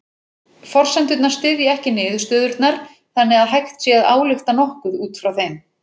Forsendurnar styðja ekki niðurstöðurnar þannig að hægt sé að álykta nokkuð út frá þeim.